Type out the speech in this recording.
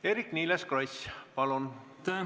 Eerki-Niiles Kross, palun!